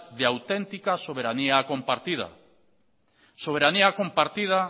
de auténtica soberanía compartida soberanía compartida